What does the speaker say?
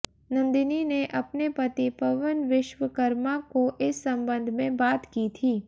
नंदिनी ने अपने पति पवन विश्वकर्मा को इस संबंध में बात की थी